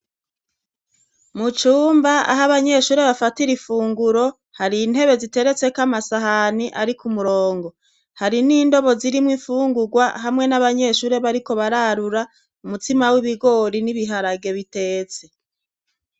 Mu cumba aho abanyeshure bafatira ifunguro hari intebe ziteretseko amasahani ari kumurongo, hari n'indobo zirimwo ifungugwa hamwe n'abanyeshure bariko bararura umutsima w'ibigori n'ibiharage bitetse.